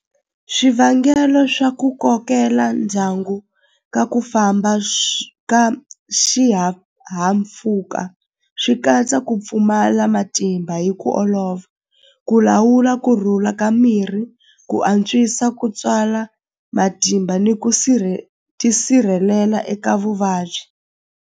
Swivangelo swa ku kokela ndyangu ka ku famba ka xihahampfhuka swi katsa ku pfumala matimba hi ku olova ku lawula kurhula ka mirhi ku antswisa ku tswala matimba ni ku tisirhelela eka vuvabyi.